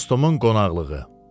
Dostumun qonaqlığı.